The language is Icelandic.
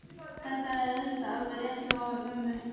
Þetta er auðvitað alveg rétt hjá mömmu.